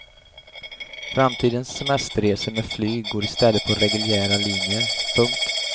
Framtidens semesterresor med flyg går i stället på reguljära linjer. punkt